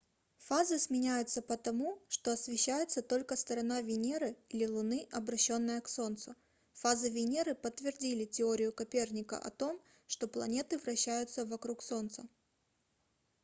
фазы сменяются потому что освещается только сторона венеры или луны обращённая к солнцу. фазы венеры подтвердили теорию коперника о том что планеты вращаются вокруг солнца